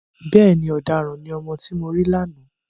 Bẹ́ẹ̀ni, ọ̀daràn ni ọmọ tí mo rí lánàá.